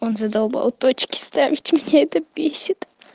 он задолбал точки ставьте меня это бесит